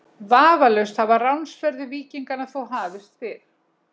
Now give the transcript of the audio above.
Vafalaust hafa ránsferðir víkinganna þó hafist fyrr.